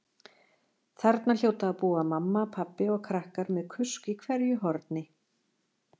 Þarna hljóta að búa mamma, pabbi og krakkar með kusk í hverju horni.